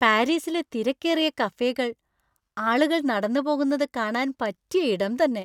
പാരീസിലെ തിരക്കേറിയ കഫേകൾ ആളുകൾ നടന്നുപോകുന്നത് കാണാൻ പറ്റിയ ഇടം തന്നെ.